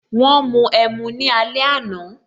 Wọn mu ẹmu ní alẹ àná